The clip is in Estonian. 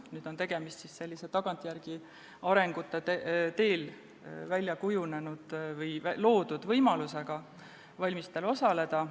Nüüd on tegemist tagantjärele arengute teel välja kujunenud või loodud võimalusega valimistel osaleda.